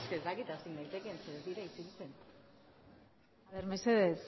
es que ez dakit hasi naitekeen ze ez dira isiltzen mesedez